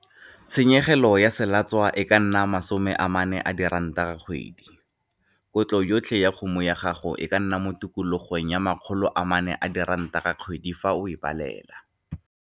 Tshenyegelo ya selatswa e ka nna R40 ka kgwedi. Kotlo yotlhe ya kgomo ya gago e ka nna mo tikologong ya R400 ka kgwedi fa o e balela.